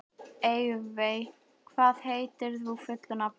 Evey, hvað heitir þú fullu nafni?